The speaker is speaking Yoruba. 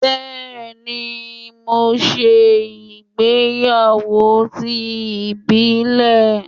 Bẹẹni, mo ṣe ìgbéyàwó ti ìbílẹ̀.